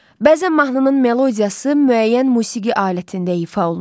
Bəzən mahnının melodiyası müəyyən musiqi alətində ifa olunur.